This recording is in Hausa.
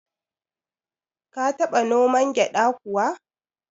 Ka taba noman gyada kuwa?